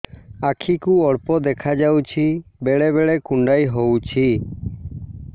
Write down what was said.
ଆଖି କୁ ଅଳ୍ପ ଦେଖା ଯାଉଛି ବେଳେ ବେଳେ କୁଣ୍ଡାଇ ହଉଛି